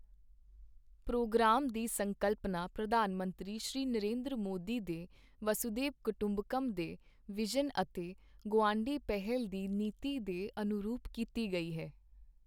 programme ਦੀ ਸੰਕਲਪਨਾ ਪ੍ਰਧਾਨ ਮੰਤਰੀ ਸ਼੍ਰੀ ਨਰਿੰਦਰ ਮੋਦੀ ਦੇ ਵਸੂਧੈਵ ਕੁਟੰਬਕਮ੍ ਦੇ ਵਿਜ਼ਨ ਅਤੇ ਗੁਆਢੀ ਪਹਿਲ ਦੀ ਨੀਤੀ ਦੇ ਅਨੁਰੂਪ ਕੀਤੀ ਗਈ ਹੈ